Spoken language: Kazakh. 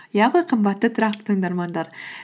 иә ғой қымбатты тұрақты тыңдармандар